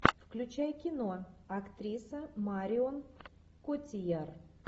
включай кино актриса марион котийяр